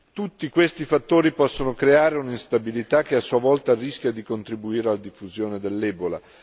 Tutti questi fattori possono creare un'instabilità che a sua volta rischia di contribuire alla diffusione dell'ebola.